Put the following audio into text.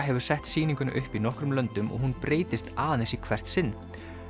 hefur sett sýninguna upp í nokkrum löndum og hún breytist aðeins í hvert sinn